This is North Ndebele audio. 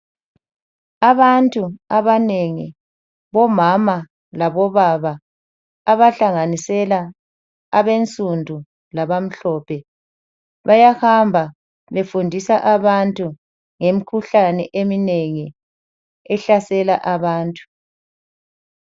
Abantu abanengi omama labobaba abahlanganisela abensundu labamhlophe bayahamba befundisa abantu ngumkhuhlane eminengi ehlasela abantu .